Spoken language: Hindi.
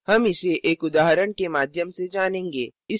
हम इसे एक उदाहरण के माध्यम से जानेंगे